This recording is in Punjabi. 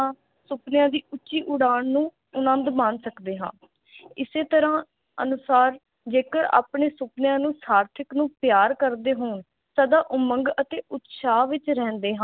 ਸੁਫਨਿਆਂ ਦੀ ਉੱਚੀ ਉਡਾਨ ਨੂੰ ਆਨੰਦ ਮਾਣ ਸਕਦੇ ਹਾਂ ਇਸੇ ਤਰ੍ਹਾਂ ਅਨੁਸਾਰ ਜੇਕਰ ਆਪਣੇ ਸੁਫਨਿਆਂ ਨੂੰ ਸਾਰਥਿਕ ਨੂੰ ਪਿਆਰ ਕਰਦੇ ਹਾਂ ਸਦਾ ਉਮੰਗ ਅਤੇ ਉਤਸ਼ਾਹ ਵਿਚ ਰਹਿੰਦੇ ਹਾਂ